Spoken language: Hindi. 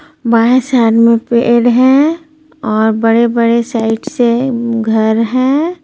बाएं साइड में पेड़ है और बड़े-बड़े साइड से घर हैं.